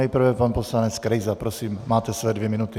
Nejprve pan poslanec Krejza, prosím, máte své dvě minuty.